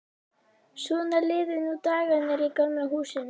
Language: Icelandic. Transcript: Svona liðu nú dagarnir í Gamla húsinu.